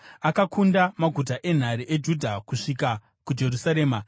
akakunda maguta enhare eJudha kusvika kuJerusarema.